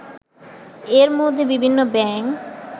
এরমধ্যে বিভিন্ন ব্যাংক